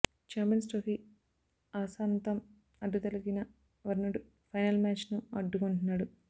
champions trophy ఆసాంతం అడ్డుతగిలిన వరుణుడు ఫైనల్ మ్యాచ్ నూ అడ్డుకుంటున్నాడు